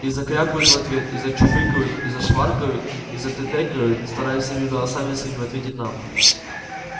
и закрякают в ответ и зачуфыкают и зашваркают и затэтэкают стараясь всеми голосами своими ответить нам